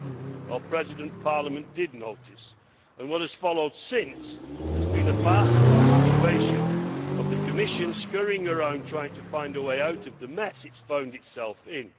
Well, Madam President, Parliament did notice and what has followed since has been a farcical situation of the Commission scurrying around trying to find a way out of the mess it has found itself in.